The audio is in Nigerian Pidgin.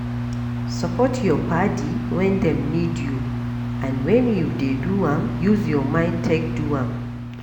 Support your padi when dem need you and when you dey do am, use your mind take do am